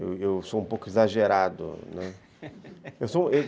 Eu sou um pouco exagerado, né, eu sou